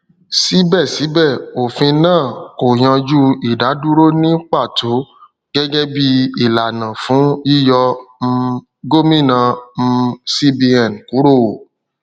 síbẹsíbẹ òfin náà kò yanjú ìdádúró ní pàtó gẹgẹ bí ìlànà fún yíyọ um gómìnà um cbn kúrò